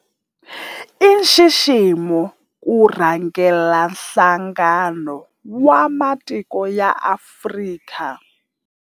I nxiximo ku rhangela Nhlangano wa Matiko ya Afrika, AU.